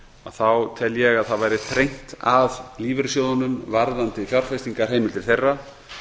þá tel ég að það væri þrengt að lífeyrissjóðunum varðandi fjárfestingarheimildir þeirra